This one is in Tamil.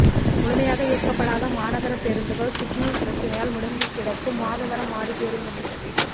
முழுமையாக இயக்கப்படாத மாநகர பேருந்துகள் சிக்னல் பிரச்னையால் முடங்கி கிடக்கும் மாதவரம் மாடி பேருந்து நிலையம்